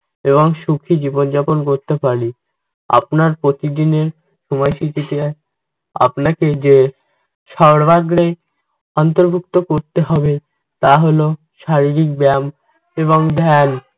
এবং সুখী জীবনযাপন করতে পারি। আপনার প্রতিদিনের আপনাকে যে সর্বাগ্রে অন্তর্ভুক্ত করতে হবে তা হল শারীরিক ব্যায়াম এবং ধ্যান।